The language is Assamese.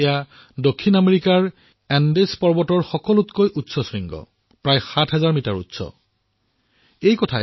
এয়া দক্ষিণ আমেৰিকাৰ এণ্ডিছ পৰ্বতমালাৰ সবাতোকৈ ওখ শৃংগ যি প্ৰায় ৭০০০ মিটাৰ ওখ